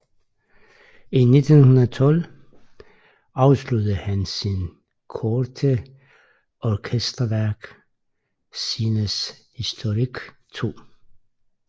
I 1912 afsluttede han sit korte orkesterværk Scènes historiques II